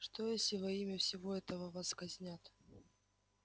что если во имя всего этого вас казнят